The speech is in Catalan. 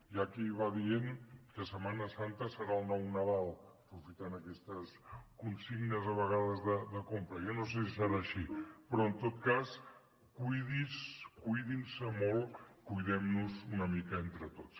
hi ha qui va dient que setmana santa serà el nou nadal aprofitant aquesta consigna de vegades de compra jo no sé si serà així però en tot cas cuidi’s cuidin se molt cuidem nos una mica entre tots